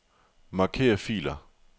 Marker filer.